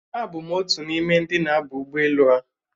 Abụ m otu n'ime ndị na-aba ụgbọelu a